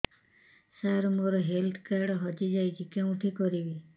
ସାର ମୋର health card ହଜି ଯାଇଛି କେଉଁଠି କରିବି